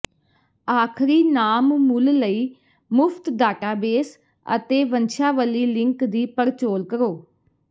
ਆਖਰੀ ਨਾਮ ਮੁੱਲ ਲਈ ਮੁਫ਼ਤ ਡਾਟਾਬੇਸ ਅਤੇ ਵੰਸ਼ਾਵਲੀ ਲਿੰਕ ਦੀ ਪੜਚੋਲ ਕਰੋ